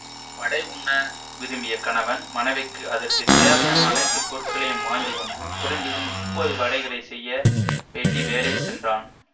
வடை உண்ண விரும்பிய கணவன் மனைவிக்கு அதற்கு தேவையான அனைத்து பொருட்களையும் வாங்கி வந்து குறைந்தது முப்பது வடைகளை செய்ய வேண்டி வேலை சென்றான்